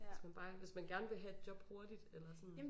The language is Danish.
Hivs man bare hvis man gerne vil have et job hurtigt eller sådan